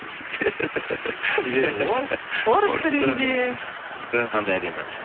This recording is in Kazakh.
себебі ол орыс тілінде қандай әдемі